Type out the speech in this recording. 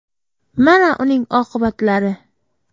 Mana uning oqibatlari .